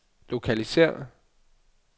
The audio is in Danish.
lokalisér